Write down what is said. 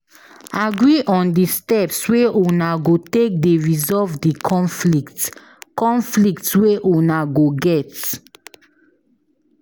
Agree on di steps wey una go take dey resolve di conflict, conflict wey una go get